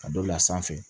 Ka dɔ bila sanfɛ